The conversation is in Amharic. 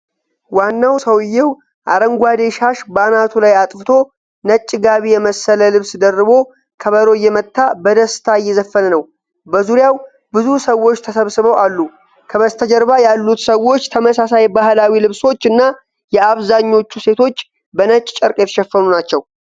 ዋናው ሰውዬው አረንጓዴ ሻሽ በአናቱ ላይ አጥፍቶ፣ ነጭ ጋቢ የመሰለ ልብስ ደርቦ ከበሮ እየመታ በደስታ እየዘፈነ ነው። በዙሪያው ብዙ ሰዎች ተሰብስበው አሉ። ከበስተጀርባ ያሉት ሰዎች ተመሳሳይ ባህላዊ ልብሶች እና የአብዛኞቹ ሴቶች በነጭ ጨርቅ የተሸፈኑ ናቸው።